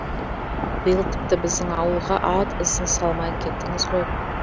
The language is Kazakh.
биыл тіпті біздің ауылға ат ізін салмай кеттіңіз ғой